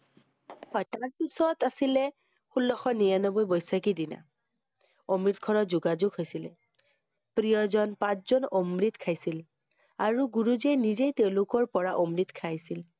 হয়, তাৰ পিছত আছিলে, ষোল্লশ নিৰানব্বৈ বৈশাখী দিনা। অমৃতসৰৰ যোগাযোগ হৈছিলে। প্ৰিয়জন পাত জন অমৃত খাইছিল। আৰু গুৰুজীয়ে নিজেই তেওঁলোকৰ পৰা অমৃত খাইছিল।